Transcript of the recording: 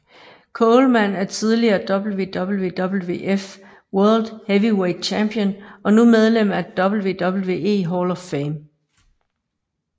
Coleman er tidligere WWWF World Heavyweight Champion og nu medlem af WWE Hall of Fame